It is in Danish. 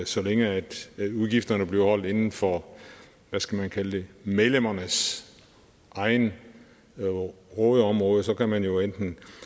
så længe udgifterne bliver holdt inden for hvad skal man kalde det medlemmernes eget rådeområde så kan man jo enten